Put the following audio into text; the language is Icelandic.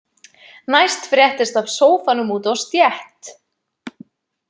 Næst fréttist af sófanum úti á stétt.